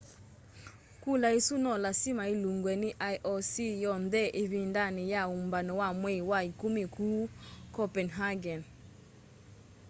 kula isu no lasima ilungwe ni ioc yonthe ivindani ya umbano wa mwei wa ikumi kuu copenhagen